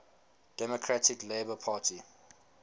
democratic labour party